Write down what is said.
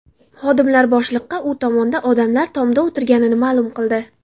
Xodimlar boshliqqa u tomonda odamlar tomda o‘tirganini ma’lum qildi.